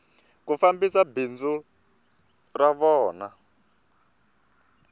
ku fambisa bindzu ra vona